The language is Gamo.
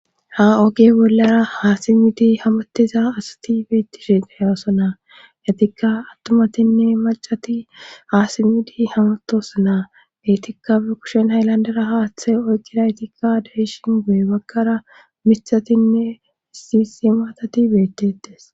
ha oge bollara haasimmidi hamatiza asati beettishe qa yaason na yatikka attumatinne macati haasimmidi hamatosa naa betikkafe kushen hayllandara haaththe oyqira ytikka deishin go7e bagkara mithatinne sisi maatati beettetes